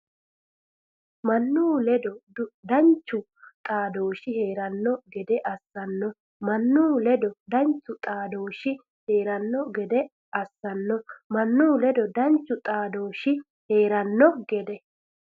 Mannu ledo danchu xaadooshshi hee’ranno gede assanno Mannu ledo danchu xaadooshshi hee’ranno gede assanno Mannu ledo danchu xaadooshshi hee’ranno gede.